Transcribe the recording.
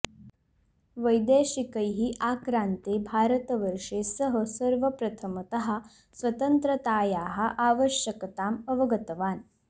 वैदेशिकैः आक्रान्ते भारतवर्षे सः सर्वप्रथमतः स्वतन्त्रतायाः आवश्यकताम् अवगतवान्